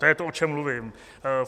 To je to, o čem mluvím.